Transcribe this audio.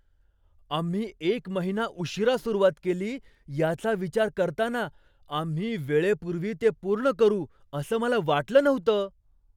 आम्ही एक महिना उशीरा सुरुवात केली याचा विचार करताना, आम्ही वेळेपूर्वी ते पूर्ण करू असं मला वाटलं नव्हतं.